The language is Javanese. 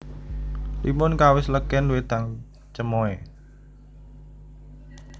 Limun kawis legèn wédang cemoè